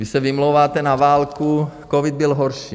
Vy se vymlouváte na válku, covid byl horší.